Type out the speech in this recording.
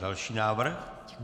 Další návrh?